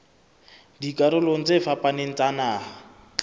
dikarolong tse fapaneng tsa naha